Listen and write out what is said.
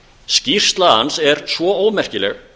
skýrsla hans er svo ómerkileg